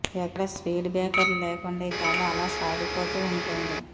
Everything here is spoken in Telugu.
ఎక్కడా స్పీడ్ బ్రేకర్లు లేకుండా ఈ కథ అలా సాగిపోతూ ఉంటుంది